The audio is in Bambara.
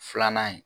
Filanan ye